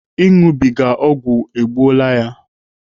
Ịṅụbiga ọgwụ egbuola ya.